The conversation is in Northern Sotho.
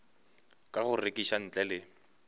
ka go rekiša ntle le